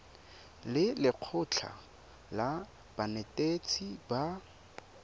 le lekgotlha la banetetshi ba